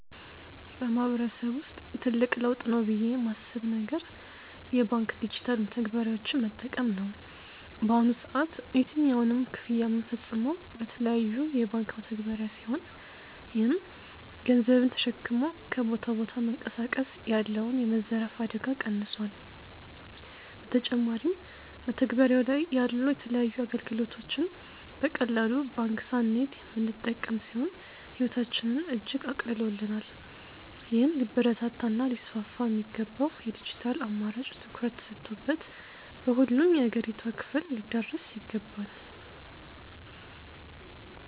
በማህበረሰብ ውስጥ ትልቅ ለውጥ ነው ብዬ ማስብ ነገር የባንክ ዲጂታል መተግበሪያዎችን መጠቀም ነው። በአሁኑ ሰዓት የትኛውንም ክፍያ ምንፈጽመው በተለያዩ የባንክ መተግባሪያ ሲሆን ይህም ገንዘብን ተሸክሞ ከቦታ ቦታ መንቀሳቀስ ያለውን የመዘረፍ አደጋ ቀንሶል። በተጨማሪም መተግበሪያው ላይ ያሉ የተለያዩ አገልግሎቶችን በቀላሉ ባንክ ሳንሄድ ምንጠቀም ሲሆን ህይወታችንን እጅግ አቅልሎልናል። ይህም ሊበረታታ እና ሊስፋፋ የሚገባው የድጅታል አማራጭ ትኩረት ተሰጥቶበት በሁሉም የአገሪቷ ክፍል ሊዳረስ ይገባል።